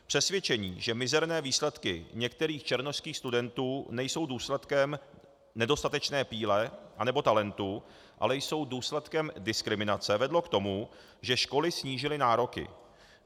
Přesvědčení, že mizerné výsledky některých černošských studentů nejsou důsledkem nedostatečné píle anebo talentu, ale jsou důsledkem diskriminace, vedlo k tomu, že školy snížily nároky.